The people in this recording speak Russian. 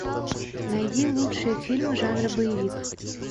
найди лучшие фильмы жанра боевик